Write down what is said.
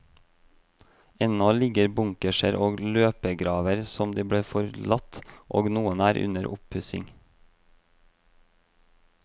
Ennå ligger bunkerser og løpegraver som de ble forlatt, og noen er under oppussing.